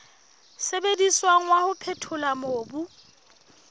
sebediswang wa ho phethola mobu